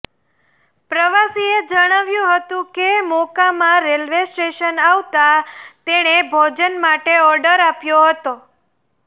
પ્રવાસીએ જણાવ્યું હતું કે મોકામા રેલવે સ્ટેશન આવતાં તેણે ભોજન માટે ઓર્ડર આપ્યો હતો